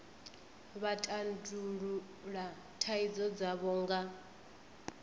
vha tandulula thaidzo dzavho nga